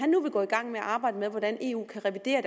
nu vil gå i gang med at arbejde med hvordan eu kan revidere